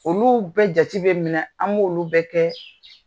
Olu bɛ jate bɛ minɛ an b' olu bɛ kɛ